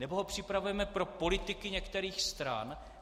Nebo ho připravujeme pro politiky některých stran?